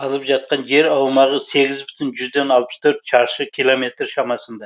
алып жатқан жер аумағы сегіз бүтін жүзден алпыс төрт шаршы километр шамасында